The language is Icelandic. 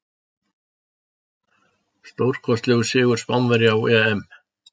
Stórkostlegur sigur Spánverja á EM.